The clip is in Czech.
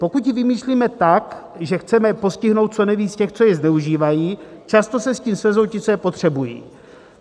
Pokud ji vymýšlíme tak, že chceme postihnout co nejvíc těch, co ji zneužívají, často se s tím svezou ti, co ji potřebují.